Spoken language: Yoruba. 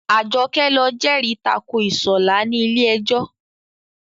Àjọkẹ́ lọ jẹ́rì tako Ìṣọ̀lá ní ilé ẹjọ́